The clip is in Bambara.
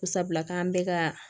Sabula k'an bɛ ka